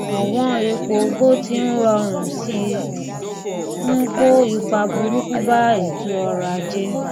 ọwọn epo bó ti ń rọrùn ṣi ń kó ipa burúkú bá ètò ọrọ-ajé